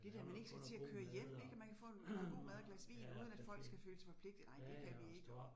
Det der man skal ikke til at køre hjem ik, og man kan få noget god mad og et glas vin uden at folk skal føle sig forpligtede, nej det kan vi ikke